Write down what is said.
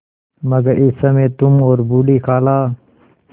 मगर इस समय तुम और बूढ़ी खाला